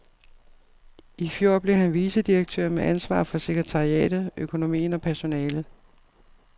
I fjor blev han vicedirektør med ansvar for sekretariatet, økonomien og personalet.